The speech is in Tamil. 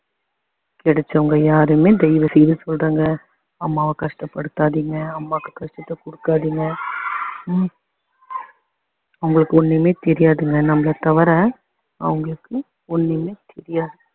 கிடைச்சவங்க யாருமே தயவுசெய்து சொல்றேங்க அம்மாவ கஷ்டப்படுத்தாதீங்க அம்மாக்கு கஷ்டத்த கொடுக்காதீங்க அவங்களுக்கு ஒண்ணுமே தெரியாதுங்க நம்மள தவிர அவங்களுக்கு ஒண்ணுமே தெரியாது